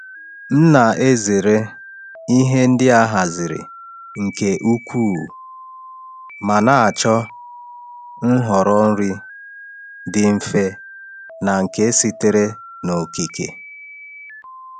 M na-ezere ihe ndị a haziri nke ukwuu ma na-achọ nhọrọ nri dị mfe na nke sitere n’okike.